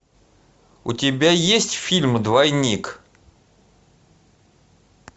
у тебя есть фильм двойник